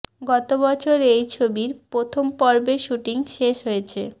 গত বছর এই ছবির প্রথম পর্বের শুটিং শেষ হয়েছে